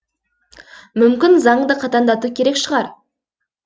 мүмкін заңды қатаңдату керек шығар